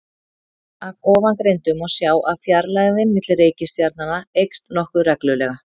Af ofangreindu má sjá að fjarlægðin milli reikistjarnanna eykst nokkuð reglulega.